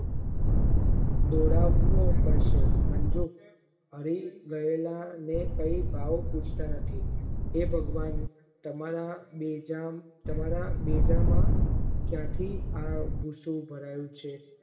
મંજુ હરિ ગયેલા ને કહી ભાવ પૂછતાં નથી હે ભગવાન તમારા બેજામ તમારા બેજામા ક્યાંથી આ ભુસુ ભરાયુ છે.